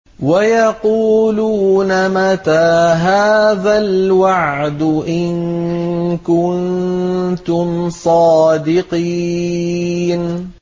وَيَقُولُونَ مَتَىٰ هَٰذَا الْوَعْدُ إِن كُنتُمْ صَادِقِينَ